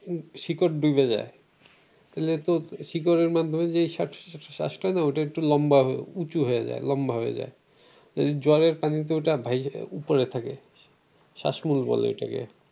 শিকড় ডুবে যায় তাহলে তো শিকড় শ্বাস ওইটা একটা লম্বা হয়ে উঁচু হয়ে যায় লম্বা হয়ে যায় জলের পানিতে ওটা উপরে থাকে শ্বাসমূল বলে ওটা কে।